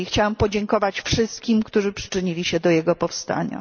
Chciałabym podziękować wszystkim, którzy przyczynili się do jego powstania.